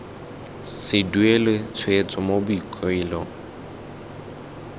se duelwe tshwetso mo boikuelong